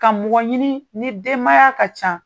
Ka mɔgɔ ɲini ni denmaya ka ca.